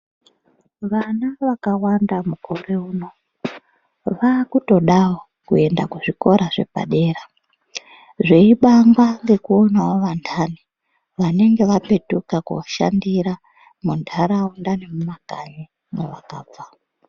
Vana vakawanda mukore uno, vakutodawo kuenda kuzvikora zvepadera. Zveibamba ngekuonawo antani vanenge vapetuka koshandira muntaraunda nemumakanyi mavakabva.